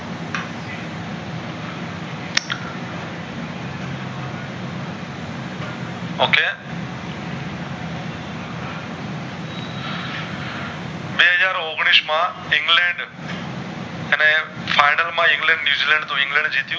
બે હાજર ઔગનીશ માં ઇંગ્લેન્ડ અને final માં ઇંગ્લેન્ડ ન્યૂઝીલેન્ડ તો ઇંગ્લેન્ડ જીત્યું